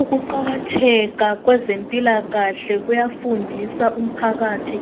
Ukuqakatheka kwezempilakahle kuyafundisa umphakathi